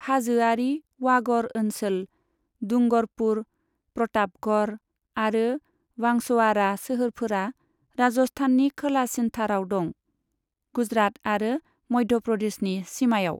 हाजोआरि वागड़ ओनसोल, डुंगरपुर, प्रतापगढ़ आरो बांसवाड़ा सोहोरफोरा राजस्थाननि खोलासिनथाराव दं, गुजरात आरो मध्य प्रदेशनि सिमायाव।